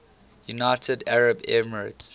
united arab emirates